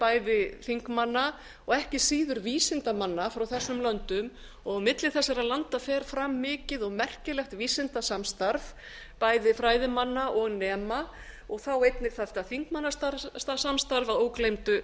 bæði þingmanna og ekki síður vísindamanna frá þessum löndum og á milli þessara landa fer fram mikið og merkilegt vísindasamstarf bæði fræðimanna og nema og þá einnig þetta þingmannasamstarf að ógleymdu